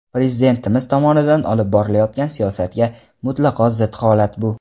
Prezidentimiz tomonidan olib borilayotgan siyosatga mutlaqo zid holat bu.